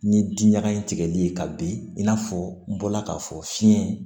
Ni di ɲaga in tigɛli ye ka bin i n'a fɔ n bɔla k'a fɔ fiɲɛ